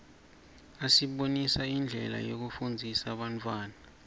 asibonisa indlela yekufundzisa bantfwana